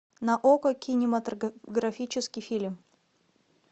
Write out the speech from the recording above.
на окко кинематографический фильм